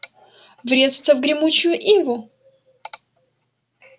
врезаться в гремучую иву